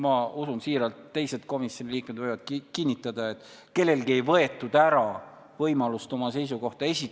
Võiks ju samamoodi teha etteheiteid, et miks see komisjonis sellisena ei kõlanud, aga minu arvates oli kõigi osapoolte jaoks sada protsenti aktsepteeritav, et Kaja Kallas oma kirjaliku arvamuse protokolli lisas.